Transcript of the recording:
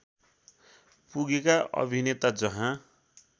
पुगेका अभिनेता जहाँ